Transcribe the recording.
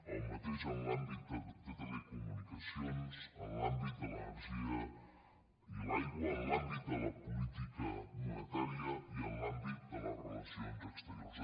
el mateix en l’àmbit de telecomunicacions en l’àmbit de l’energia i l’aigua en l’àmbit de la política monetària i en l’àmbit de les relacions exteriors